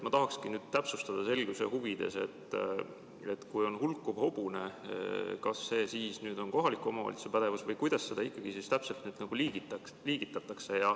Ma tahaksin täpsustada selguse huvides, et kui on hulkuv hobune, kas see on kohaliku omavalitsuse pädevus või kuidas seda ikkagi täpselt liigitatakse.